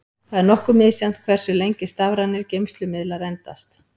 Það er nokkuð misjafnt hversu lengi stafrænir geymslumiðlar endast.